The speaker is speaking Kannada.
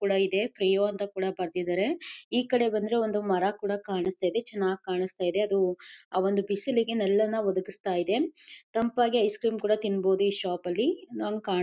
ಕೂಡ ಇದೆ ಪ್ರಿಯೋ ಅಂತ ಕೂಡ ಬರೆದಿದ್ದಾರೆ ಈ ಕಡೆ ಬಂದ್ರೆ ಒಂದು ಮರ ಕೂಡ ಕಾಣಿಸ್ತಿದೆ ಚೆನ್ನಾಗಿ ಕಾಣಿಸ್ತಾ ಇದೆ ಅದು ಆ ಒಂದು ಬಿಸಿಲಿಗೆ ನೆರಳನ್ನು ಒದಗಿಸ್ತಾ ಇದೆ ತಂಪಾಗಿ ಐಸ್ ಕ್ರೀಮ್ ಕುಡಾಸ್ ತಿಂಬೋದು ಈ ಶಾಪ್ ಲಿ ನಂಗ್ ಕಾಣ.